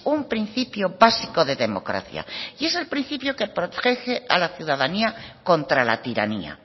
un principio básico de democracia y es el principio que protege a la ciudadanía contra la tiranía